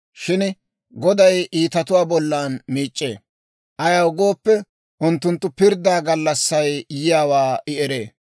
Shin Goday iitatuwaa bollan miic'c'ee; ayaw gooppe, unttunttu pirddaa gallassay yiyaawaa I eree.